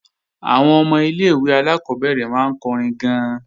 Àwọn ọmọ ilé-ìwé alákọ́bẹ̀rẹ̀ máa ń kọrin gan-an